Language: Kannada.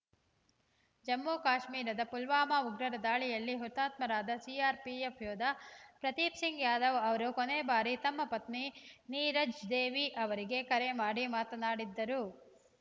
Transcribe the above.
ಜಮ್ಮುಕಾಶ್ಮೀರದ ಪುಲ್ವಾಮಾ ಉಗ್ರರ ದಾಳಿಯಲ್ಲಿ ಹುತಾತ್ಮರಾದ ಸಿಆರ್‌ಪಿಎಫ್‌ ಯೋಧ ಪ್ರದೀಪ್‌ ಸಿಂಗ್‌ ಯಾದವ್‌ ಅವರು ಕೊನೇ ಬಾರಿ ತಮ್ಮ ಪತ್ನಿ ನೀರಜ್‌ ದೇವಿ ಅವರಿಗೆ ಕರೆ ಮಾಡಿ ಮಾತನಾಡಿದ್ದರು